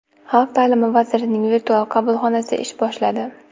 Xalq ta’limi vazirining virtual qabulxonasi ish boshladi.